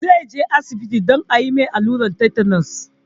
Zai je asibiti don a mai allurar tetanus